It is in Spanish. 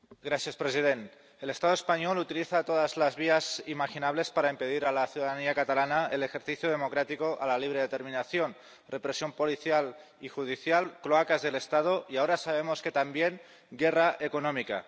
Señor presidente, el Estado español utiliza todas las vías imaginables para impedir a la ciudadanía catalana el ejercicio democrático a la libre determinación represión policial y judicial, cloacas del Estado y ahora sabemos que también guerra económica.